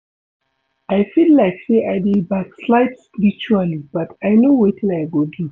I feel like say I dey backslide spiritually but I no wetin I go do